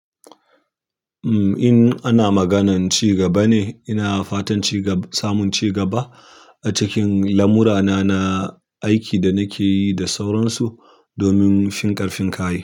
Mm, in ana maganan ci gaba ne, ina fatan ci gaba, samun ci gaba a cikin lamurana na aiki da nake yi da sauransu domin fin ƙarfin kai.